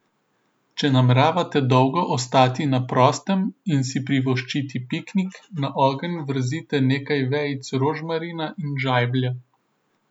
Če nameravate dolgo ostati na prostem in si privoščiti piknik, na ogenj vrzite nekaj vejic rožmarina in žajblja.